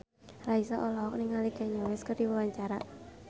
Raisa olohok ningali Kanye West keur diwawancara